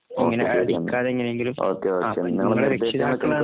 ഇങ്ങനെ പേടിക്കാതെ എങ്ങനെയെങ്കിലും നിങ്ങള് രക്ഷിതാക്കള്